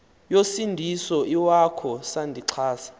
yosindiso iwakho sandixhasa